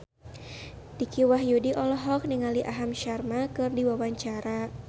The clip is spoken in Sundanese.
Dicky Wahyudi olohok ningali Aham Sharma keur diwawancara